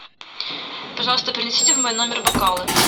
пожалуйста принесите в мой номер бокалы